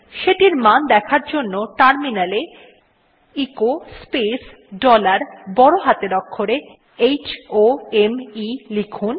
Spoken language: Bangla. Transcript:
সেটির মান দেখার জন্য টার্মিনালে এ এচো স্পেস ডলার বড় হাতের অক্ষরে h o m ই লিখুন